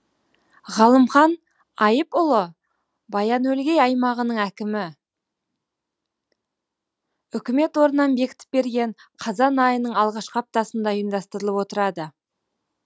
ғылымхан айыпұлы баян өлгей аймағының әкімі үкімет орнынан бекітіп берген қазан айының алғашқы аптасында ұйымдастырылып отырады